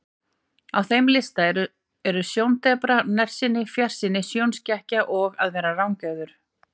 Á þeim lista eru sjóndepra, nærsýni, fjarsýni, sjónskekkja og að vera rangeygður.